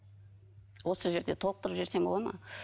осы жерде толықтырып жіберсем болады ма